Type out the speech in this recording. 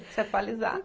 Tem que se atualizar.